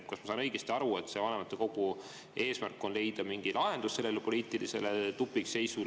Kas ma saan õigesti aru, et vanematekogu eesmärk on leida mingi lahendus sellele poliitilisele tupikseisule?